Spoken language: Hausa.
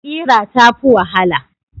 Ƙira ta fi wahala.